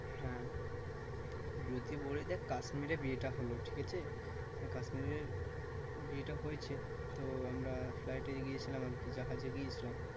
হ্যাঁ যদি বলি দেখ কাশ্মিরে বিয়েটা হলো ঠিক আছে। মানে কাশ্মিরের বিয়েটা হয়েছে। তো আমরা flight এ গিয়েছিলাম আরকি জাহাজে গিয়েছিলাম।